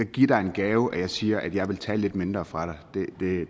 give dig en gave at jeg siger at jeg vil tage lidt mindre fra dig